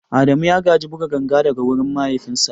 Adamu ya gaji buga ganga daga wurin mahaifinsa.